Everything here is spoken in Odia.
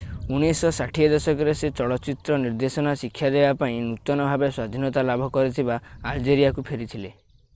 1960 ଦଶକରେ ସେ ଚଳଚିତ୍ର ନିର୍ଦ୍ଦେଶନା ଶିକ୍ଷା ଦେବାପାଇଁ ନୂତନ-ଭାବେ-ସ୍ଵାଧୀନତା ଲାଭ କରିଥିବା ଆଲଜେରିଆକୁ ଫେରିଥିଲେ